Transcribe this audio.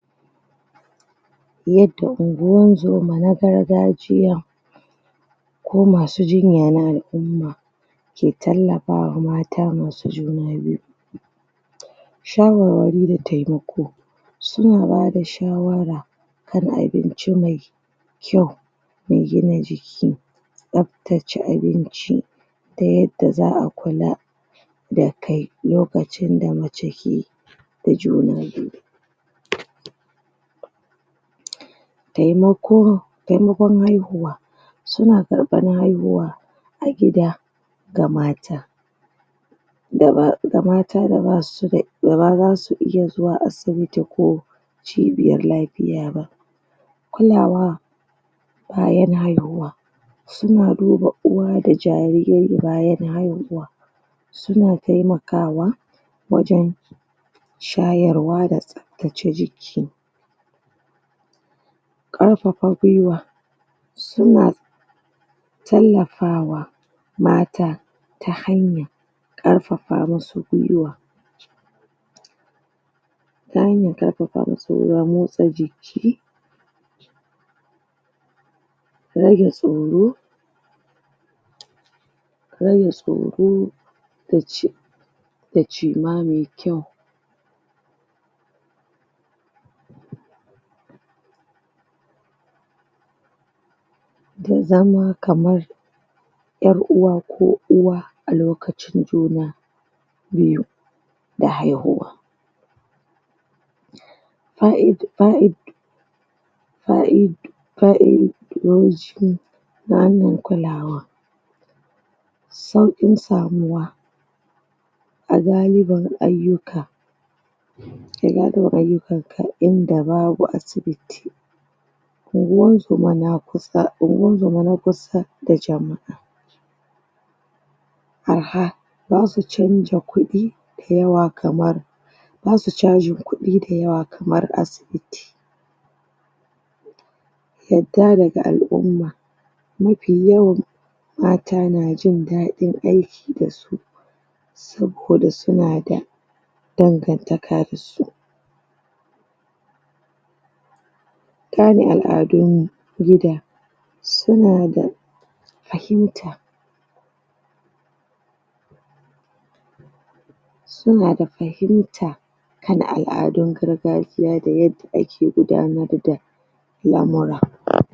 yadda unguwan zoma na gargajiya komasu jinya na al'umma ke tallafama mata masu juna biyu shawar wari da temako suna bada shawara kana abinci mai kyau me gina jiki tsaftace abinci ta yadda za a kula da kai lokacin da mace ke da juna biyu temako temakon haihuwa suna karɓan haihuwa a gida ga mata ga mata da basu da bama zasu iya zuwa asibiti ko cibiyan lafiya ba kulawa bayan haihuwa suna duba uwa da jariri bayan haihuwa suna temakawa wajan shayarwa da tsaftace jiki ƙarfafa gwiwa suna talafawa mata ta hanyan ƙarfafa musu gwiwa ta hanyan ƙarfafa musu gwiwa motsa jiki rage tsoro rage tsoro da ci dacima me kyau da zama kaman yar uwa ko uwa alokacin juna biyu da haihuwa fa, id, fa'id fa'id fa'id doji na hanyan kulawa sauƙin samuwa a galiban ayyuka a galiban ayyukan ka inda babu asibiti anguwan zomana kusa anguwa zoma na kusa da jama'a arha basu canja kuɗi da yawa kamar basu cajin kuɗi da yawa kamar asibiti yadda daga al'umma mafi yawan mata najin daɗin aiki dasu saboda sunada dan gan taka dasu tana al'aduna gida sunada fahimta inada fahimta kallan al'adun gargaji da yadda ake gudanar da lamura